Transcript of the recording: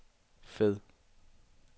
fed